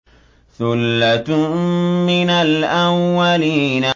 ثُلَّةٌ مِّنَ الْأَوَّلِينَ